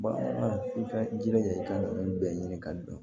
Bamanan i ka i jilaja i ka nunnu bɛɛ ɲini ka dɔn